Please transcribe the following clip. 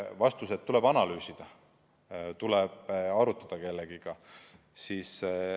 Vastus oli, et tuleb analüüsida, tuleb arutada kellegagi.